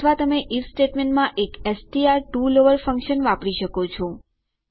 અથવા તમે આઇએફ સ્ટેટમેંટમાં એક એસટીઆર ટીઓ લોવર ફંક્શન વાપરી શકો છો